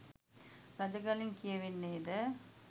රජගලින් කියවෙන්නේද